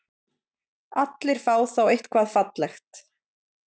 Allir fá þá eitthvað fallegt.